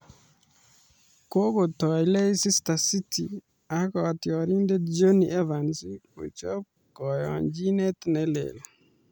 kokotoi Leicester City ak kotiorindet Jonny Evans kochob koyonjinet ne leel